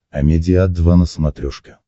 амедиа два на смотрешке